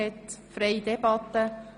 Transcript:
Wir führen eine freie Debatte.